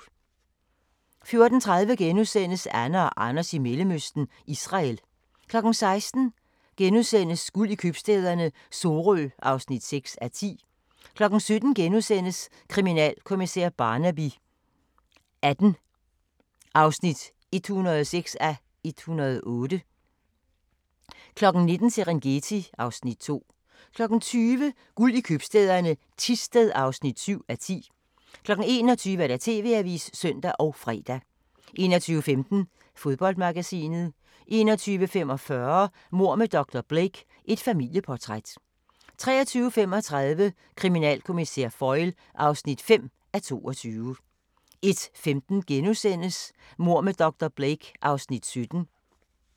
14:30: Anne og Anders i Mellemøsten - Israel * 16:00: Guld i købstæderne - Sorø (6:10)* 17:00: Kriminalkommissær Barnaby XVIII (106:108)* 19:00: Serengeti (Afs. 2) 20:00: Guld i købstæderne - Thisted (7:10) 21:00: TV-avisen (søn og fre) 21:15: Fodboldmagasinet 21:45: Mord med dr. Blake: Et familieportræt 23:35: Kriminalkommissær Foyle (5:22) 01:15: Mord med dr. Blake (Afs. 17)*